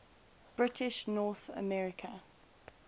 british north america